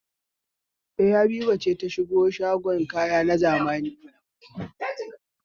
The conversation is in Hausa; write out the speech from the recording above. E, Habiba ce ta shiga shagon kaya na zamani.